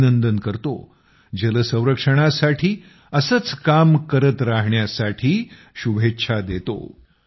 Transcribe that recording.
अभिनंदन करतो जल संरक्षणासाठी असंच काम करत रहाण्यासाठी शुभेच्छा देतो